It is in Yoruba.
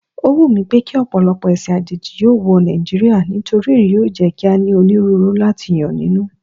Ó wùmí pékí ọ̀pọ̀lọpọ̀ ẹ̀sìn àjèjì yóò wọ Nàìjíríà nítorí èyí yóò jẹ́ kí a ní onírúurú láti yàn nínú.